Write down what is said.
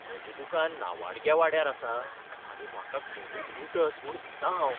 म्हजें दुकान नावाडग्या वाड्यार आसा आनी म्हाका कोणूय लुटत म्हूण भितां हांव.